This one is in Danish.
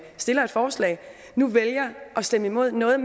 forslag vælger at stemme imod noget